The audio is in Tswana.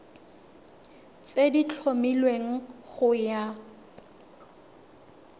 tse di tlhomilweng go ya